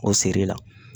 O siri la